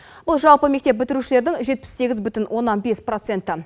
бұл жалпы мектеп бітірушілердің жетпіс сегіз бүтін оннан бес проценті